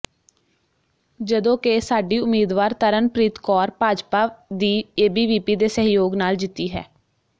ਜਦੋਂ ਕਿ ਸਾਡੀ ਉਮੀਦਵਾਰ ਤਰਨਪ੍ਰੀਤ ਕੌਰ ਭਾਜਪਾ ਦੀ ਏਬੀਵੀਪੀ ਦੇ ਸਹਿਯੋਗ ਨਾਲ ਜਿੱਤੀ ਹੈ